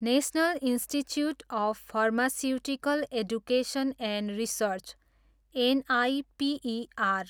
national institute of pharmaceutical education and research, NIPER